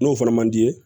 N'o fana man di ye